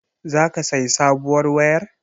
Zaka sayi sabuwar wayar?